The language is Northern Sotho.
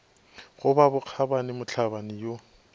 go ba bokgabani mohlabani yo